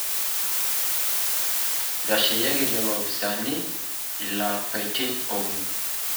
Itasheyieki lelo opisaani ilapaitin okuni